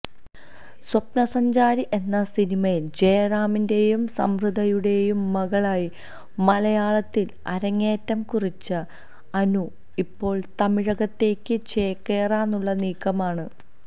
സ്വപ്നസഞ്ചാരി എന്ന സിനിമയില് ജയറാമിന്റെയും സംവൃതയുടെയും മകളായി മലയാളത്തില് അരങ്ങേറ്റം കുറിച്ച അനു ഇപ്പോള് തമിഴകത്തേക്ക് ചേക്കേറാനുള്ള നീക്കമാണ്